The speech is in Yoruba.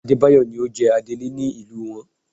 Adébáyọ̀ ni ó jẹ adélé nílùú wọn